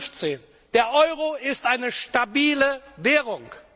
1,15. Der Euro ist eine stabile Währung.